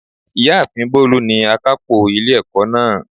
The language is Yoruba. Ìyáàfin Bólú ni akápò ilé ẹ̀kọ́ náà